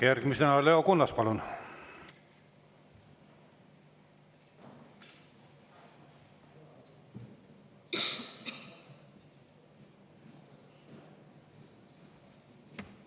Järgmisena Leo Kunnas, palun!